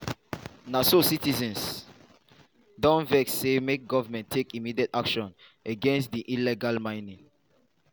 na so citizens don vex say make goment take immediate action against di illegal mining.